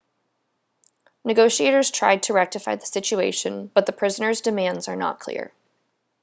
negotiators tried to rectify the situation but the prisoners' demands are not clear